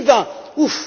2020.